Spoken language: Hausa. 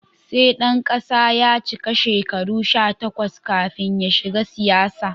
Sai ɗan kasa ya cika shekaru sha takwas kafin ya shiga siyasa.